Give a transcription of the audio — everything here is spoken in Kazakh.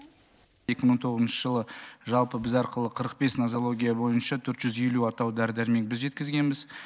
екі мың он тоғызыншы жылы жалпы біз арқылы қырық бес назология бойынша төрт жүз елу атаулы дәрі дәрмекті біз жеткізгенбіз